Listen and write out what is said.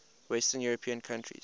western european countries